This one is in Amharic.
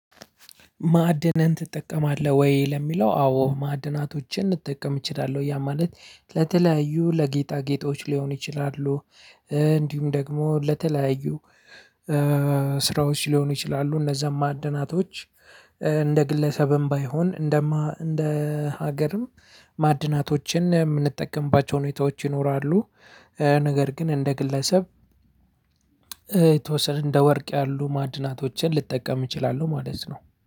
ማዕድንን ትጠቀማለህ ወይ? ለሚለው አዎ ማዕድናቶችን እንጠቀም እችላለሁ ያ ማለት ለተለያዩ ለጌጣ ጌጦች ሊሆን ይችላሉ። እንዲሁም ደግሞ ለተለያዩ ስራዎች ሊሆኑ ይችላሉ። እነዛን ማዕድናቶች እንደ ግለሰብም ባይሆን እንደ ሀገርም ማዕድናቶችን የምንጠቀምባቸው ሁኔታዎች ይኖራሉ። ነገር ግን እንደ ግለሰብ የተወሰነ እንደ ወርቅ ያሉ ማዕድናቶችን ልጠቀም እችላለሁ ማለት ነው